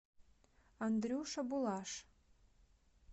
андрюша булаш